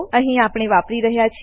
અહી આપણે વાપરી રહ્યા છીએ